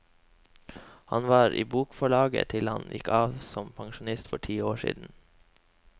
Han var i bokforlaget til han gikk av som pensjonist for ti år siden.